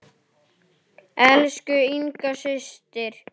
Elsku Inga systir.